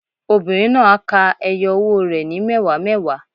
Obìnrin náà á ka ẹyọ owó rẹ̀ ní mẹ́wàá mẹ́wàá.